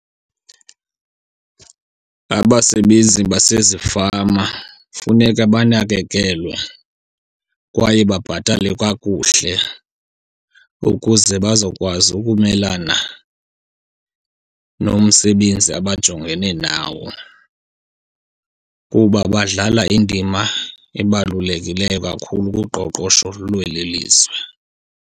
Abasebenzi basezifama funeka banakekelwe kwaye babhatalwe kakuhle ukuze bazokwazi ukumelana nomsebenzi abajongene nawo, kuba badlala indima ebalulekileyo kakhulu kuqoqosho lweli lizwe.